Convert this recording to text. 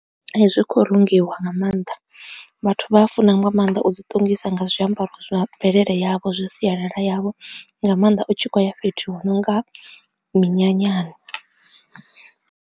Ee zwi khou rungiwa nga maanḓa, vhathu vha a funa nga maanḓa u ḓi ṱongisa nga zwiambaro zwa mvelele yavho zwa sialala yavho nga maanḓa u tshi khoya fhethu hu nonga minyanyani.